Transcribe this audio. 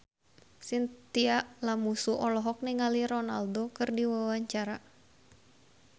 Chintya Lamusu olohok ningali Ronaldo keur diwawancara